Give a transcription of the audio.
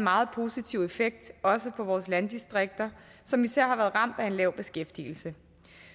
meget positiv effekt også på vores landdistrikter som især har været ramt af en lav beskæftigelse